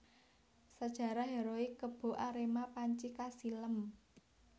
Sajarah heroik Kebo Arema panci kasilem